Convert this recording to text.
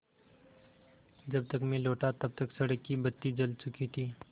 जब तक मैं लौटा तब तक सड़क की बत्ती जल चुकी थी